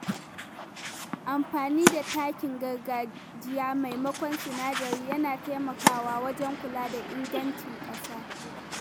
Amfani da takin gargajiya maimakon sinadarai yana taimakawa wajen kula da ingancin ƙasa.